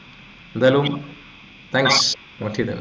എന്തായാലും thanks connect ചെയ്തതിനു